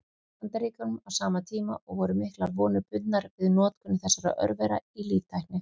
Bandaríkjunum á sama tíma, og voru miklar vonir bundnar við notkun þessara örvera í líftækni.